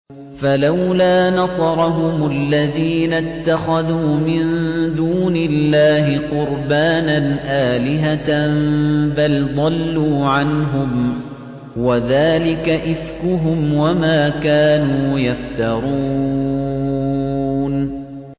فَلَوْلَا نَصَرَهُمُ الَّذِينَ اتَّخَذُوا مِن دُونِ اللَّهِ قُرْبَانًا آلِهَةً ۖ بَلْ ضَلُّوا عَنْهُمْ ۚ وَذَٰلِكَ إِفْكُهُمْ وَمَا كَانُوا يَفْتَرُونَ